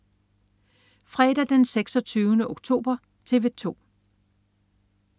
Fredag den 26. oktober - TV 2: